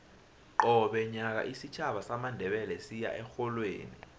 qobe nyaka isitjhaba samandebele siya erholweni